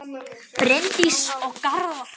Bryndís og Garðar.